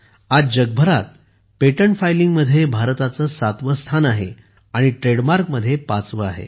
आज जगभरात पेटंट फाइलिंगमध्ये भारताचे 7वे स्थान आहे आणि ट्रेडमार्कमध्ये 5वे आहे